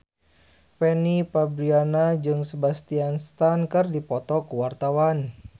Fanny Fabriana jeung Sebastian Stan keur dipoto ku wartawan